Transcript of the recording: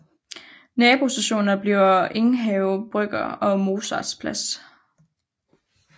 Nabostationer bliver Enghave Brygge og Mozarts Plads